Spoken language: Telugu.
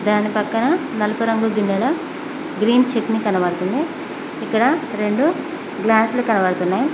దాని పక్కన నలుపు రంగు గిన్నెలో గ్రీన్ చెట్నీ కనబడుతుంది ఇక్కడ రెండు గ్లాస్లు కనబడుతున్నాయి.